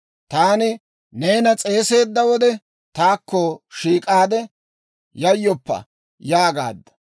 Taani neena s'eeseedda wode, taakko shiik'aade, «Yayyoppa» yaagaadda.